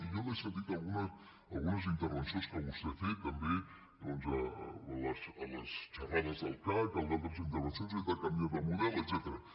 i jo l’he sentit en algunes intervencions que vostè ha fet també doncs a les xerrades del cac en altres intervencions hem de canviar de model etcètera